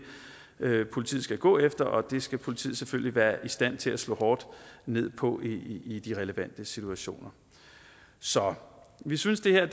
politiet skal gå efter og det skal politiet selvfølgelig være i stand til at slå hårdt ned på i de relevante situationer så vi synes det her